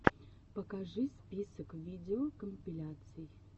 покажи список видеокомпиляций